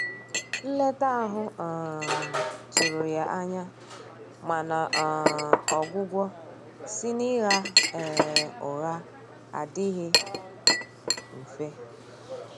Nleta ahụ um tụrụ ya anya, mana um ọgwugwọ si na Ịgha um ụgha adighi mfe.